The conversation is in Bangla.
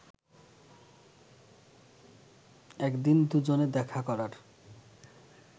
একদিন দুজনে দেখা করার